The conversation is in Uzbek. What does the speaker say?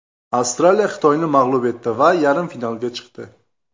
Avstraliya Xitoyni mag‘lub etdi va yarim finalga chiqdi.